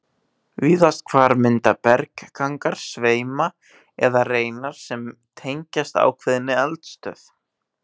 Víðast hvar mynda berggangar sveima eða reinar sem tengjast ákveðinni eldstöð.